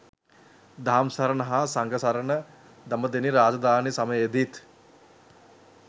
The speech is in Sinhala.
දහම් සරණ හා සඟ සරණ දඹදෙණි රාජධානි සමයේදීත්